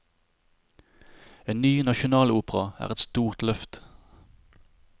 En ny nasjonalopera er et stort løft.